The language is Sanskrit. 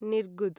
निर्गुद